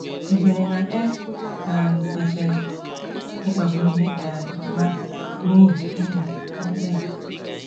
Ì kweere na e um kwesịrị ịkpagbu ndị um mmadụ n’ihi n’ihi okpukpe ha?